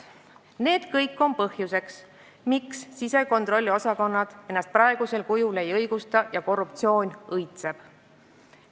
Need kõik on põhjuseks, miks sisekontrolliosakonnad praegusel kujul ennast ei õigusta ja korruptsioon õitseb.